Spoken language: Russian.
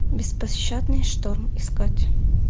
беспощадный шторм искать